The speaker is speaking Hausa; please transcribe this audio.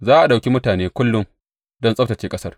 Za a ɗauki mutane kullum don tsabtacce ƙasar.